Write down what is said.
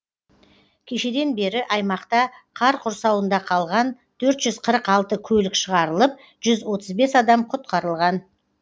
кешеден бері аймақта қар құрсауында қалған төрт жүз қырық алты көлік шығарылып жүз отыз бес адам құтқарылған